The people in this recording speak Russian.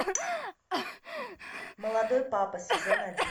молодой папа сезон один